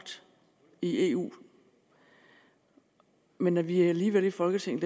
i eu men at vi alligevel i folketinget